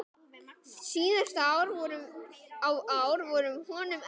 Síðustu ár voru honum erfið.